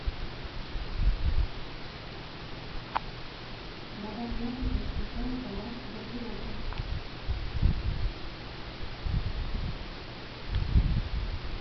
добавь яркость ночника у кровати в гардеробной